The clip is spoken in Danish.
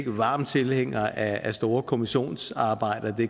en varm tilhænger af store kommissionsarbejder